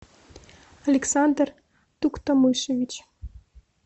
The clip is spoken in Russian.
александр туктамышевич